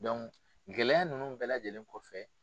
gɛlɛya ninnu bɛɛ lajɛlen kɔfɛ